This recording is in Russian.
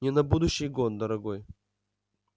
не на будущий год дорогой